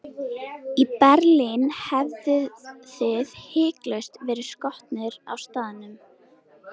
Í Berlín hefðuð þið hiklaust verið skotnir á staðnum.